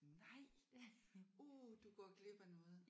Nej. Uh du går glip af noget